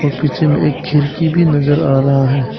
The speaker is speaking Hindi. और पीछे में एक खिड़की भी नजर आ रहा है।